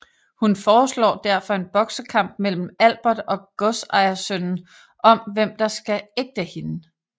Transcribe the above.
Hun foreslår derfor en boksekamp mellem Albert og godsejersønnen om hvem som skal ægte hende